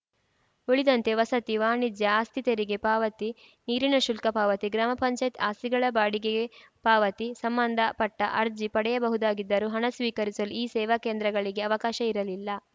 ಉಳಿದಂತೆ ವಸತಿ ವಾಣಿಜ್ಯ ಆಸ್ತಿ ತೆರಿಗೆ ಪಾವತಿ ನೀರಿನ ಶುಲ್ಕ ಪಾವತಿ ಗ್ರಾಮ ಪಂಚಾಯತ್‌ ಆಸ್ತಿಗಳ ಬಾಡಿಗೆ ಪಾವತಿ ಸಂಬಂಧ ಪಟ್ಟಅರ್ಜಿ ಪಡೆಯಬಹುದಾಗಿದ್ದರೂ ಹಣ ಸ್ವೀಕರಿಸಲು ಈ ಸೇವಾ ಕೇಂದ್ರಗಳಿಗೆ ಅವಕಾಶ ಇರಲಿಲ್ಲ